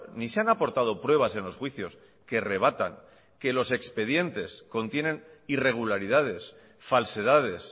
ni se han aportado pruebas en los juicios que rebatan que los expedientes contienen irregularidades falsedades